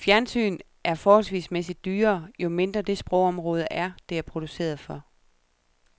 Fjernsyn er forholdsmæssigt dyrere, jo mindre det sprogområde er, det er produceret for.